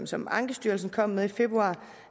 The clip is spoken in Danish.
som ankestyrelsen kom med i februar